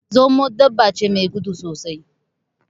Zomo dabba ce me gudu sosai